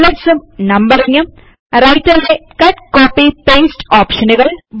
bullets ഉം numbering ഉം റൈറ്റർലെ കട്ട് കോപ്പി പേസ്റ്റ് ഓപ്ഷനുകൾ